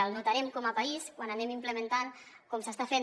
ho notarem com a país quan anem implementant com s’està fent